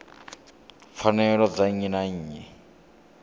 pfanelo dza nnyi na nnyi